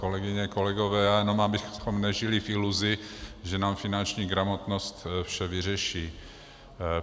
Kolegyně, kolegové, já jenom abychom nežili v iluzi, že nám finanční gramotnost vše vyřeší.